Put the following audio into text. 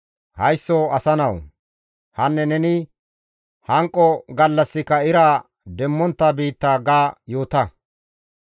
«Haysso asa nawu! ‹Hanne neni; hanqo gallassika ira demmontta biitta› ga yoota.